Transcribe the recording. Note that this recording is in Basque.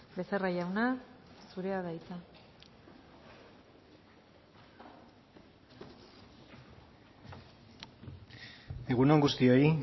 becerra jauna zurea da hitza egun on guztioi